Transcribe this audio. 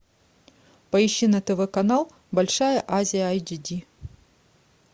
поищи на тв канал большая азия айчди